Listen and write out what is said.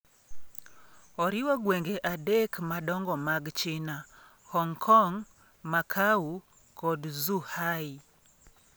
Oriwo gwenge adek madongo mag China - Hong Kong, Macau, kod Zhuhai.